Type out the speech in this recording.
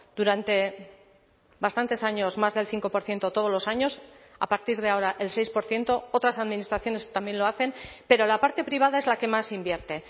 durante bastantes años más del cinco por ciento todos los años a partir de ahora el seis por ciento otras administraciones también lo hacen pero la parte privada es la que más invierte